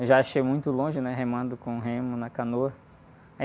Eu já achei muito longe, né? Remando com remo na canoa.